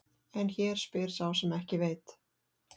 En hér spyr sá sem ekki veit.